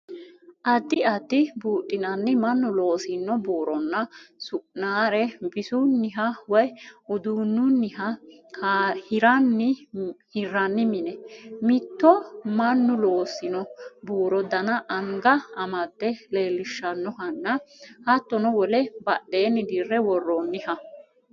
Addi addi buudhinanni mannu loosino buuronna su'nare bisunniha woy uduunnunniha hirranni mine. Mitto mannu loosino buuru dana anga amade leellishannohanna hattono wole badheenni dirre worroonniha.